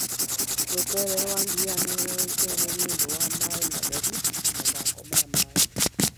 Rũteere rwa Diani nĩ rũĩkaine nĩ ũndũ wa maĩ matheru na mathako ma maĩ.